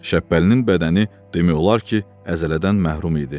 Şəbbəlinin bədəni demək olar ki, əzələdən məhrum idi.